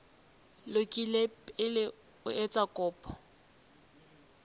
lokile pele o etsa kopo